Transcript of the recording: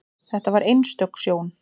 Þetta var einstök sjón.